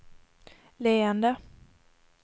leende